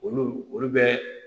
Olu olu bɛ